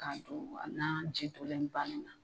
K'a dun nan ji donnen ban ni na.